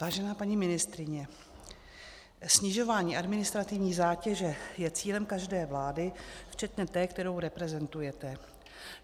Vážená paní ministryně, snižování administrativní zátěže je cílem každé vlády včetně té, kterou reprezentujete.